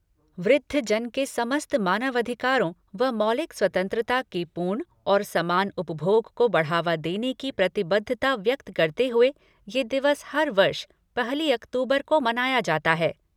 वृद्धजन के समस्त मानवाधिकारों व मौलिक स्वतंत्रता के पूर्ण और समान उपभोग को बढ़ावा देने की प्रतिबद्धता व्यक्त करते हुए यह दिवस हर वर्ष पहली अक्तूबर को मनाया जाता है।